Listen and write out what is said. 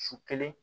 Su kelen